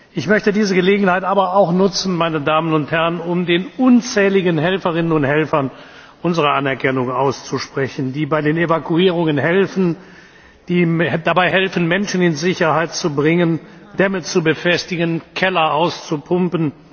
Ich möchte diese Gelegenheit aber auch nutzen, um den unzähligen Helferinnen und Helfern unsere Anerkennung auszusprechen, die bei den Evakuierungen helfen, die dabei helfen, Menschen in Sicherheit zu bringen, Dämme zu befestigen und Keller auszupumpen.